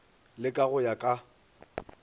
le ka go ya ka